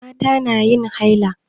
Mata na yin haila.